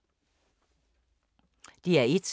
DR1